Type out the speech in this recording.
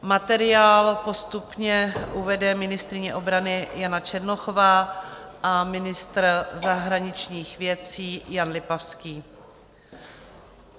Materiál postupně uvede ministryně obrany Jana Černochová a ministr zahraničních věcí Jan Lipavský.